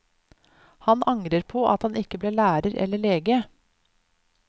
Han angrer på at han ikke ble lærer eller lege.